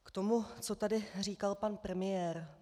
K tomu, co tady říkal pan premiér.